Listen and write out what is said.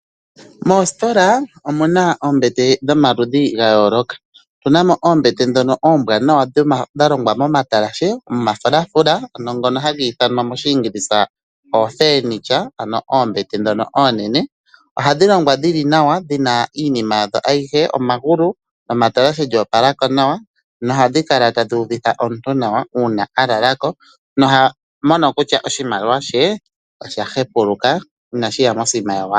Moositola omu na oombete dhomaludhi ga yooloka, otu na mo oombete dhono oombwanawa dha longwa nawa momatalashe, omafulafula ano ngono hatu ithana moshiingilisa oofenitya ano oombete ndhono oonene. Ohadhi longwa dhili nawa dhi na iinima ayihe, omagulu netalashe lyoopalako nawa, nohadhi kala tadhi uvitha omuntu nawa uuna a lala ko noha mono kutya oshimaliwa she osha hepuluka inashi ya mosina yowala.